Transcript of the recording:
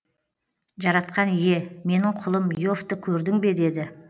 жаратқан ие менің құлым иовты көрдің бе деді